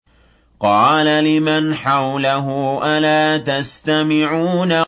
قَالَ لِمَنْ حَوْلَهُ أَلَا تَسْتَمِعُونَ